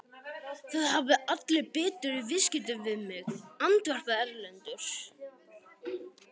Það hafa allir betur í viðskiptum við mig, andvarpaði Erlendur.